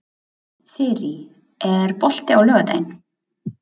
Þyrí, er bolti á laugardaginn?